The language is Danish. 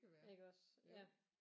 Iggås ja